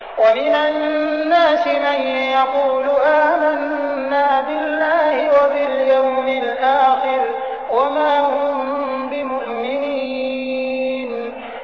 وَمِنَ النَّاسِ مَن يَقُولُ آمَنَّا بِاللَّهِ وَبِالْيَوْمِ الْآخِرِ وَمَا هُم بِمُؤْمِنِينَ